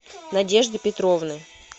надежды петровны